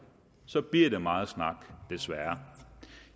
så bliver det meget snak desværre